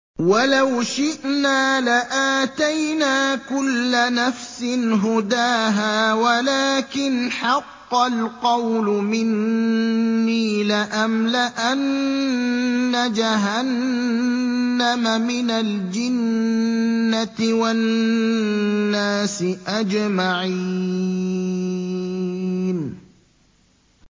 وَلَوْ شِئْنَا لَآتَيْنَا كُلَّ نَفْسٍ هُدَاهَا وَلَٰكِنْ حَقَّ الْقَوْلُ مِنِّي لَأَمْلَأَنَّ جَهَنَّمَ مِنَ الْجِنَّةِ وَالنَّاسِ أَجْمَعِينَ